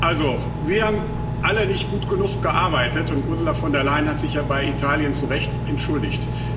Also, wir haben alle nicht gut genug gearbeitet, und Ursula von der Leyen hat sich ja bei Italien zu Recht entschuldigt.